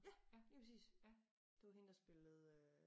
Ja lige præcis det var hende der spillede øh